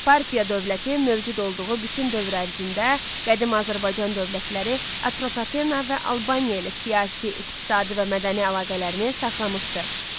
Parfiya dövləti mövcud olduğu bütün dövr ərzində qədim Azərbaycan dövlətləri, Atropatena və Albaniya ilə siyasi, iqtisadi və mədəni əlaqələrini saxlamışdı.